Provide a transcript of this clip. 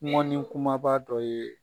Mɔni kumaba dɔ ye